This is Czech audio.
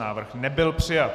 Návrh nebyl přijat.